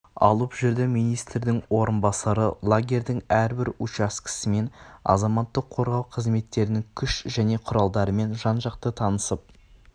алып жүрді министрдің орынбасары лагерьдің әрбір учаскесімен азаматтық қорғау қызметтерінің күш және құралдарымен жан-жақты танысып